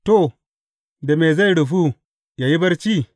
To, da me zai rufu yă yi barci?